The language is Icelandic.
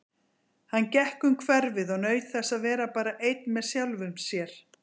Hann gekk um hverfið og naut þess að vera bara einn með sjálfum sér.